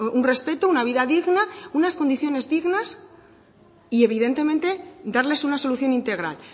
un respeto una vida digna unas condiciones dignas y evidentemente darles una solución integral